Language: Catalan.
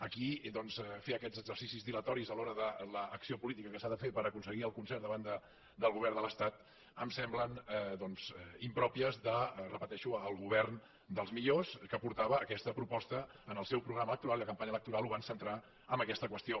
aquí doncs fer aquests exercicis dilatoris a l’hora de l’acció política que s’ha de fer per aconseguir el concert davant del govern de l’estat em sembla doncs impropi ho repeteixo el govern dels millors que portava aquesta proposta en el seu programa electoral i la campanya electoral la van centrar en aquesta qüestió